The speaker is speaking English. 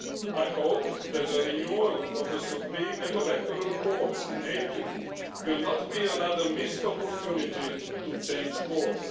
I hope that a renewal of the Supreme and electoral courts in April will not be another missed opportunity to change course.